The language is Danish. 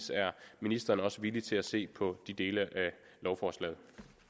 er ministeren også villig til at se på de dele af lovforslaget